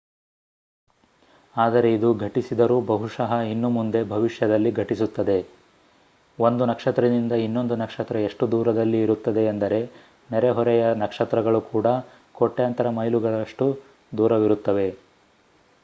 ಆದರೆ ಇದು ಘಟಿಸಿದರೂ ಬಹುಶಃ ಇನ್ನೂ ಮುಂದೆ ಭವಿಷ್ಯದಲ್ಲಿ ಘಟಿಸುತ್ತದೆ ಒಂದು ನಕ್ಷತ್ರದಿಂದ ಇನ್ನೊಂದು ನಕ್ಷತ್ರ ಎಷ್ಟು ದೂರದಲ್ಲಿ ಇರುತ್ತದೆ ಎಂದರೆ ನೆರೆಹೊರೆಯ ನಕ್ಷತ್ರಗಳು ಕೂಡ ಕೋಟ್ಯಾಂತರ ಮೈಲುಗಳಷ್ಟು ದೂರವಿರುತ್ತವೆ